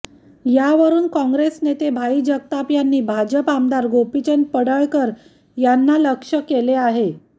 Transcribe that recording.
यावरुन काँग्रेस नेते भाई जगताप यांनी भाजप आमदार गोपीचंद पडळकर यांना लक्ष्य केलं आहे